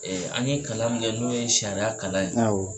an ye kalan min kɛ n'o ye sariya kalan ye awɔ.